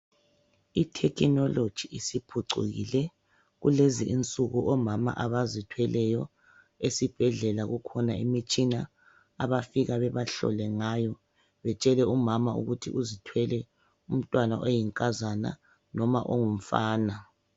Ithekhinoloji isiphucukile kulezi insuku omama abazithweleyo esibhedlela kukhona imitshina abafika bebahlole ngayo batshele umama ukuthi uzithwele umntwana oyinkazana noma ongumfana.